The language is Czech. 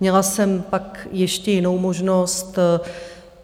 Měla jsem pak ještě jinou možnost.